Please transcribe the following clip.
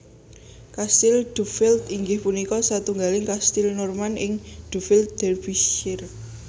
Kastil Duffield inggih punika satunggaling kastil Norman ing Duffield Derbyshire